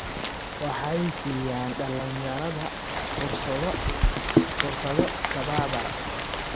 Waxay siiyaan dhalinyarada fursado tababar.